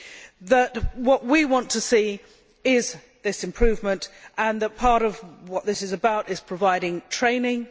But what we want to see is this improvement, and part of what this is about is providing training.